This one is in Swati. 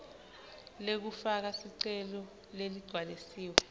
lekufaka sicelo leligcwalisiwe